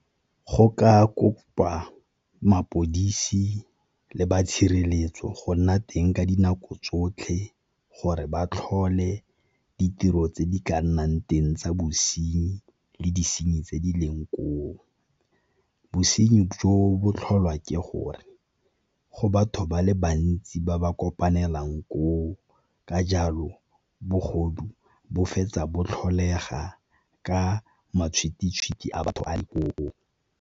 Go ka kopa mapodisi le ba tshireletso go nna teng ka dinako tsotlhe, gore ba tlhole ditiro tse di ka nnang teng tsa bosenyi le disenyi tse di leng koo. Bosenyi jo botlholwa ke gore go batho ba le bantsi ba ba kopanelang koo, ka jalo bogodu bo fetsa bo tlholega ka matshwititshwiti a batho a .